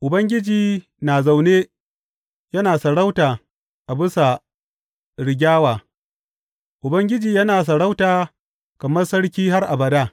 Ubangiji na zaune yana sarauta a bisa rigyawa; Ubangiji yana sarauta kamar Sarki har abada.